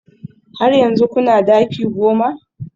Har yanzu kuna daki goma?